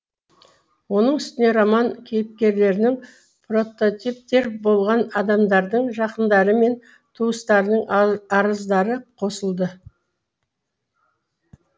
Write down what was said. оның үстіне роман кейіпкерлерінің прототиптері болған адамдардың жақындары мен туыстарының арыздары қосылды